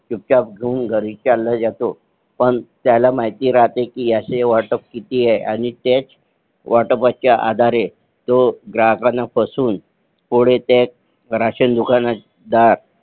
चुपचाप घेऊन चालला जातो पण त्याला माहिती राहते कि ह्याची वाटप किती ए आणि तेच वाटपाचा आधारे तो ग्राहकांना फसवून पुढे तेच राशन दुकानदार